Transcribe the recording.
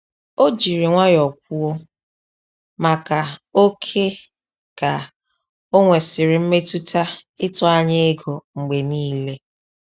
O ji nwayọ kwuo maka ókè ka onwesiri mmetụta ịtụ anya ego mgbe niile